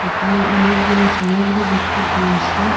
দোকানে অনেকগুলো সামগ্রী দেখতে পেয়েসি।